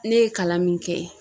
Ne ye kalan min kɛ